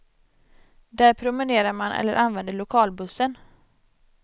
Där promenerar man eller använder lokalbussen.